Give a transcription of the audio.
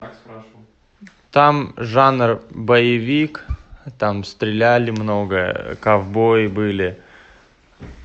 там жанр боевик там стреляли много ковбои были